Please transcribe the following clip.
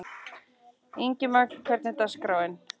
Ingimagn, hvernig er dagskráin?